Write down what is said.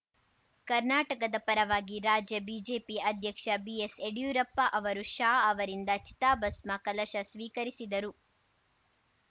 ಕರ್ನಾಟಕದ ಪರವಾಗಿ ರಾಜ್ಯ ಬಿಜೆಪಿ ಅಧ್ಯಕ್ಷ ಬಿಎಸ್‌ ಯಡಿಯೂರಪ್ಪ ಅವರು ಶಾ ಅವರಿಂದ ಚಿತಾಭಸ್ಮ ಕಲಶ ಸ್ವೀಕರಿಸಿದರು